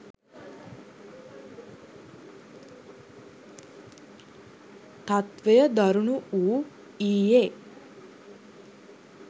තත්වය දරුණු වූ ඊයේ